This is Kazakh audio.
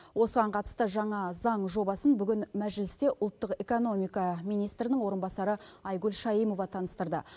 осыған қатысты жаңа заң жобасын бүгін мәжілісте ұлттық экономика министрінің орынбасары айгүл шаимова таныстырды